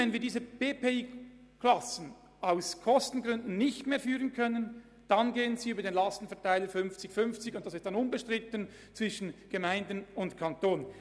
Wenn wir diese BPI-Klassen als Kostengründen nicht mehr führen können, dann werden sie über den Lastenverteiler fünfzig zu fünfzig aufgeteilt.